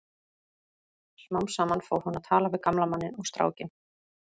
Smám saman fór hún að tala við gamla manninn og strákinn.